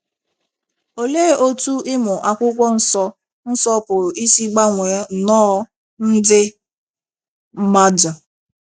Olee otú ịmụ akwụkwọ nsọ nsọ pụrụ isi gbanwee nnọọ ndị mmadụ?